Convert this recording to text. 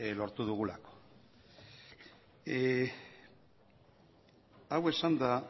lortu dugulako hau esanda